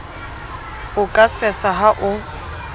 o ka sesa ha o